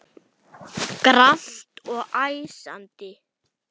Grannt og æsandi.